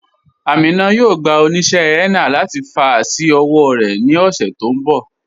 Amina yóò gbà oníṣẹ̀ henna láti fà sí ọwọ̀ rẹ ni ọṣẹ̀ tó nbọ̀.